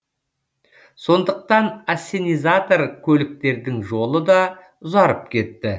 сондықтан ассенизатор көліктердің жолы да ұзарып кетті